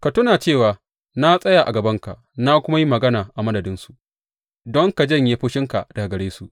Ka tuna cewa na tsaya a gabanka na kuma yi magana a madadinsu don ka janye fushinka daga gare su.